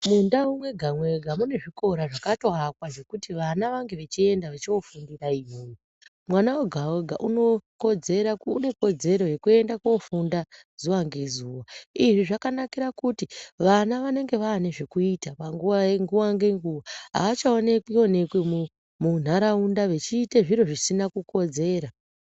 Mundau mwega mwega mune zvikora zvakatoakwa zvekuti vana vange vechienda vechofundira iyoyo. Mwana wega-wega une kodzero yekuenda kofunda zuwa ngezuwa. Izvi zvakanakira kuti vana vanenge vane zvekuita panguwa ngenguwa achaonekwi-onekwi munharaunda vechiite zviro zvisina kukodzera.